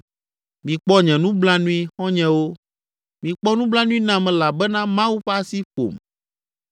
“Mikpɔ nye nublanui, xɔ̃nyewo, mikpɔ nublanui nam elabena Mawu ƒe asi ƒom.